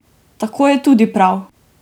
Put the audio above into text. Tako je tudi prav!